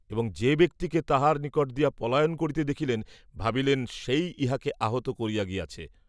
এবং যে ব্যক্তিকে তাহার নিকট দিয়া পলায়ন করিতে দেখিলেন, ভাবিলেন, সেই ইহাকে আহত করিয়া গিয়াছে।